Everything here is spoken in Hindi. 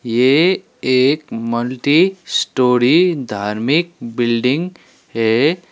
ये एक मल्टीस्टोरी धार्मिक बिल्डिंग है।